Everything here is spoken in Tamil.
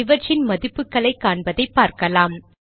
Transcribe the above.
இவற்றின் மதிப்புகளைக் காண்பதைப் பார்க்கலாம்